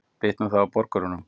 Bitnar það á borgurunum?